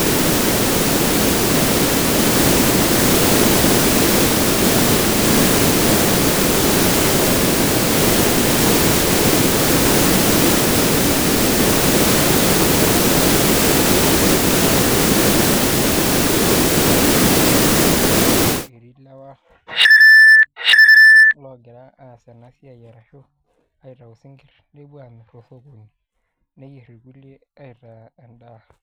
Ore ele lee netii ninye enaiposha egira ninye ele parakuoni aitau isinkirr ashu alo isinkirr lenyenak oidipa duo atolto metoito egira ninye ena siai aitobirari oleng' tenkop ang' amu etii ilewa loogira aas ena siai arashu aitau isinkirr nepuo aamirr tosokoni neyierr irkulie aitaa endaa.